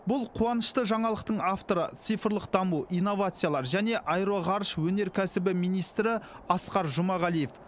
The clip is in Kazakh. бұл қуанышты жаңалықтың авторы цифрлық даму инновациялар және аэроғарыш өнеркәсібі министрі асқар жұмағалиев